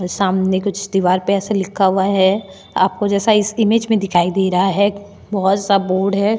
सामने कुछ दीवार पे ऐसा लिखा हुआ है आपको जैसा इस इमेज में दिखाई दे रहा है बहुत सा बोर्ड हैं।